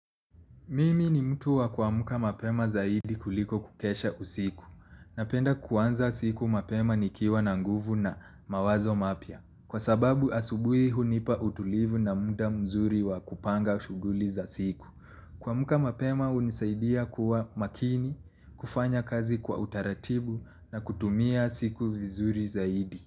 Mimi ni mtu wa kuamka mapema zaidi kuliko kukesha usiku. Napenda kuanza siku mapema nikiwa na nguvu na mawazo mapya. Kwa sababu asubuhi hunipa utulivu na muda mzuri wa kupanga shughuli za siku. Kuamka mapema hunisaidia kuwa makini, kufanya kazi kwa utaratibu na kutumia siku vizuri zaidi.